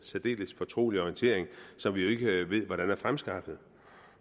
særdeles fortrolige orientering som vi jo ikke ved hvordan er fremskaffet